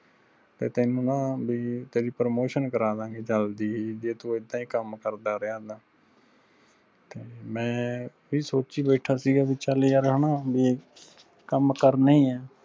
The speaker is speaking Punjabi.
ਤੇ ਤੈਨੂੰ ਨਾਂ ਵੀ ਤੇਰੀ promotion ਕਰਦਾਂਗੇ ਜਲਦੀ ਜੇ ਤੂੰ ਐਦਾਂ ਹੀ ਕੰਮ ਕਰਦਾ ਰਿਆ ਤਾਂ ਤੇ ਮੈਂ ਵੀ ਸੋਚੀ ਬੈਠਾ ਸੀਗਾ ਵੀ ਚਲ ਯਾਰ ਹਣਾ ਵੀ ਕੰਮ ਕਰਨਾ ਹੀ ਆ।